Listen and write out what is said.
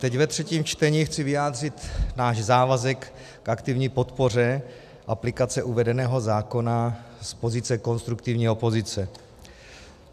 Teď ve třetím čtení chci vyjádřit náš závazek k aktivní podpoře aplikace uvedeného zákona z pozice konstruktivní opozice.